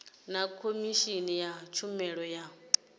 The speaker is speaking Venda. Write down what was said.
na khomishini ya tshumelo ya